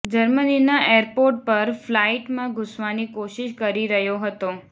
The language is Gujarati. જર્મનીના એરપોર્ટ પર ફ્લાઈટમાં ઘૂસવાની કોશિશ કરી રહ્યો હતો